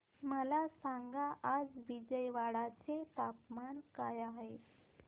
मला सांगा आज विजयवाडा चे तापमान काय आहे